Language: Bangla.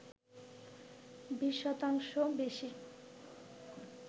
২০ শতাংশ বেশি